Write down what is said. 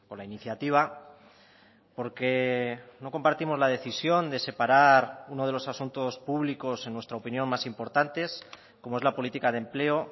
la iniciativa porque no compartimos la decisión de separar uno de los asuntos públicos en nuestra opinión más importantes como es la política de empleo